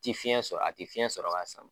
Ti fiɲɛ sɔrɔ, a tɛ fiɲɛ sɔrɔ k'a sama